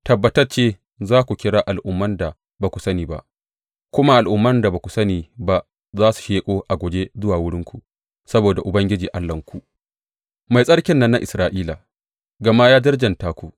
Tabbatacce za ku kira al’umman da ba ku sani ba, kuma al’umman da ba ku sani ba za su sheƙo a guje zuwa wurinku, saboda Ubangiji Allahnku, Mai Tsarkin nan na Isra’ila, gama ya darjanta ku.